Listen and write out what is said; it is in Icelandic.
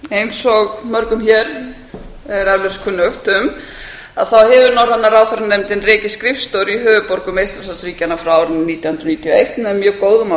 eins og mörgum hér er eflaust kunnugt hefur norræna ráðherranefndin rekið skrifstofur í höfuðborgum eystrasaltsríkjanna frá árinu nítján hundruð níutíu og eitt með mjög góðum